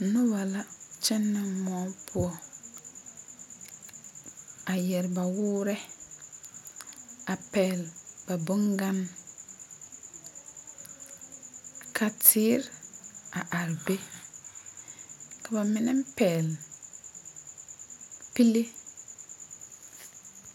Noba la kyɛnɛ moɔ poɔ a yɛre ba woore a pɛgele ba boŋganne ka teere a are be ka ba mine pɛgle pile.